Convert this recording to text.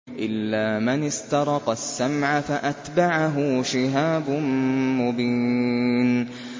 إِلَّا مَنِ اسْتَرَقَ السَّمْعَ فَأَتْبَعَهُ شِهَابٌ مُّبِينٌ